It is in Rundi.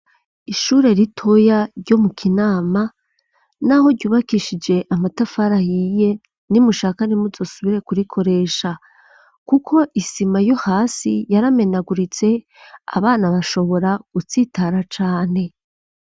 Ishure ritoya, ryo mu Kinama, n'aho ryubakishije, amatafari ahiye, nimushaka, ntimuzosubire, kurikoresha; kuko, isima yo hasi, yaramenaguritse, abana bashobora, gutsitara cane.